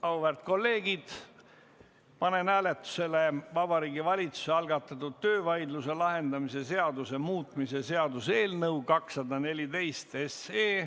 Auväärt kolleegid, panen hääletusele Vabariigi Valitsuse algatatud töövaidluse lahendamise seaduse muutmise seaduse eelnõu 214.